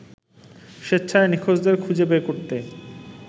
স্বেচ্ছায় নিখোঁজদের খুঁজে বের করতে